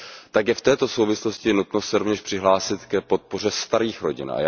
tak je v této souvislosti nutno se rovněž přihlásit k podpoře starých rodin.